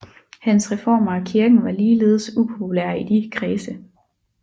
Hans reformer af kirken var ligeledes upopulære i de kredse